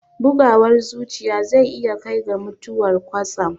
Bugawar zuciya zai iya kai ga mutuwar kwatsam